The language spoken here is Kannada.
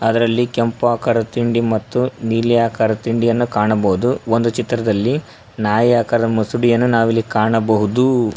ಅದರಲ್ಲಿ ಕೆಂಪು ಆಕಾರದ ತಿಂಡಿ ಮತ್ತು ನೀಲಿ ಆಕಾರ ತಿಂಡಿಯನ್ನು ಕಾಣಬಹುದು ಒಂದು ಚಿತ್ರದಲ್ಲಿ ನಾಯಿ ಆಕಾರದ ಮುಸುಡಿಯನ್ನು ನಾವು ಇಲ್ಲಿ ಕಾಣಬಹುದು.